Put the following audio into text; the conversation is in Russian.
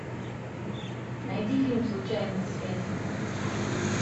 найди фильм случайные связи